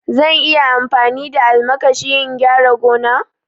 Zan iya amfani da almakashi in gyara gona?